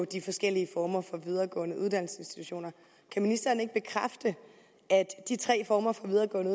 de forskellige videregående uddannelsesinstitutioner kan ministeren ikke bekræfte at de tre former for videregående